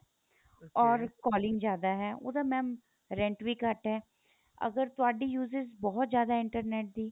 or calling ਜਿਆਦਾ ਹੈ ਉਹਦਾ mam rent ਵੀ ਘੱਟ ਏ ਅਗਰ ਤੁਹਾਡੀ uses ਬਹੁਤ ਜਿਆਦਾ internet ਦੀ